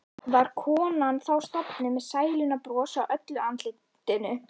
Var konan þá sofnuð með sælunnar bros á öllu andlitinu.